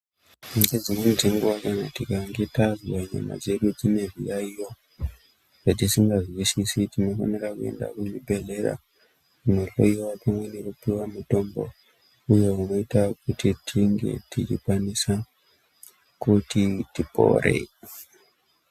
Ngdzimweni dzenguwa kana tikange tazwa nyama dzedu dzine zviyayiyo zvatisingazwisisi tinofanira kuenda kuzvibhehlera kunohloyiwa pamwe nekupiwa mithombo uye unoita kuti tinge techikwanisa kuti tipore.